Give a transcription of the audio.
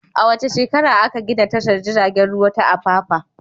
A wace shekara aka gina tashar jiragen ruwa ta Apapa?